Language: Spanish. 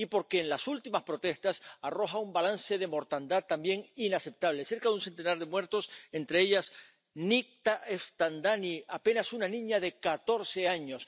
y porque en las últimas protestas arroja un balance de mortandad también inaceptable cerca de un centenar de muertes, entre ellas la de Nikta Esfandani, apenas una niña de catorce años.